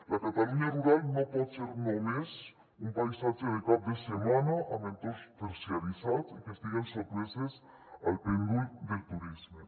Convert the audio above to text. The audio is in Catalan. la catalunya rural no pot ser només un paisatge de cap de setmana amb entorns terciaritzats i que estiguen sotmeses al pèndol del turisme